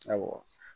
Awɔ